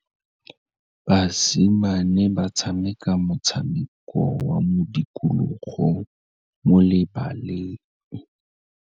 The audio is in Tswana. Basimane ba tshameka motshameko wa modikologô mo lebaleng.